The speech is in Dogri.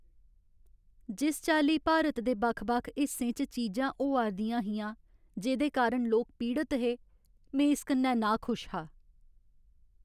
जिस चाल्ली भारत दे बक्ख बक्ख हिस्सें च चीजां होआ 'रदियां हियां जेह्दे कारण लोक पीड़त हे, में इस कन्नै नाखुश हा।